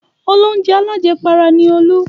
Olóunjẹ alájẹpara ni Olú.